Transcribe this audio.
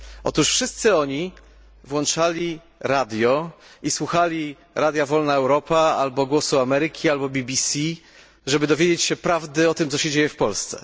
Otóż wszyscy oni włączali radio i słuchali radia Wolna Europa albo Głosu Ameryki, albo BBC, żeby dowiedzieć się prawdy o tym, co dzieje się w Polsce.